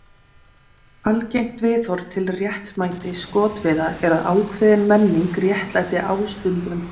Algengt viðhorf til réttmæti skotveiða er að ákveðin menning réttlæti ástundun þeirra.